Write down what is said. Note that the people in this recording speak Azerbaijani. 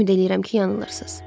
Ümid eləyirəm ki, yanılırsız.